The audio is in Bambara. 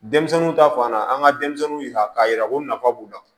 Denmisɛnninw ta fan na an ka denmisɛnninw yira k'a yira ko nafa b'u la